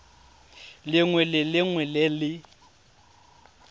lengwe le lengwe le le